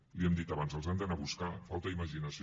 li ho hem dit abans els hem d’anar a buscar falta imaginació